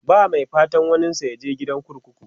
ba Mai fatan waninsa yaje gidan kurkuku